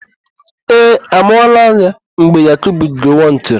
Ee, a mụọla ya mgbe Yakubu Gowọn chịrị.